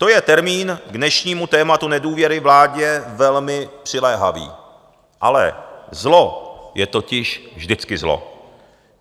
To je termín k dnešnímu tématu nedůvěry vládě velmi přiléhavý, ale zlo je totiž vždycky zlo.